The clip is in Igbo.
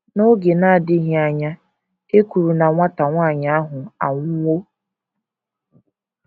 N’oge na - adịghị anya, e kwuru na nwata nwanyị ahụ anwụwo.